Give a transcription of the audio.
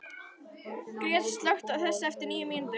Gret, slökktu á þessu eftir níu mínútur.